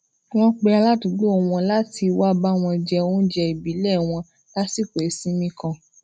wón pe aládùúgbò wọn lati wá bá wọn jẹ oúnjẹ ibile wọn lasiko isinmi kan